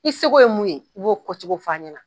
I sego ye mun ye, i b'o fɔcogo f'a ɲɛna.